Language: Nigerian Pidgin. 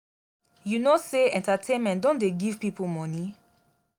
you no know sey entertainment don dey give pipo money?